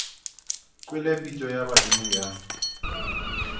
kwele pitšo ya badimo ya